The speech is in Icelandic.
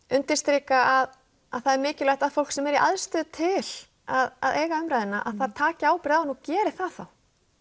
undirstrika að það er mikilvægt að fólk sem er í aðstöðu til að eiga umræðuna það taki ábyrgð á henni og geri það þá